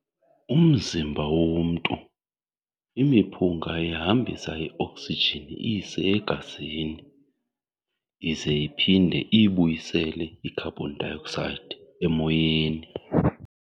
Umzimba womntu, imiphunga ihambisa i-oxygen iyise e-gazini, ize iphinde iyibuyisele i-carbon dioxide emoyeni.